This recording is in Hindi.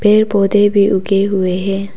पेड़ पौधे भी उगे हुए है।